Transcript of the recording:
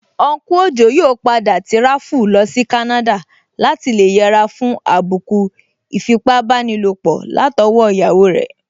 Unku Ojo yóò padà tíráfù lọsí Canada láti lè yẹra fún àbùkù ìfipábánilòpọ̀ látọwọ́ iyawo rẹ̀